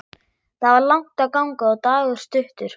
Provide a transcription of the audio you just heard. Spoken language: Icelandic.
Það var langt að ganga og dagur stuttur.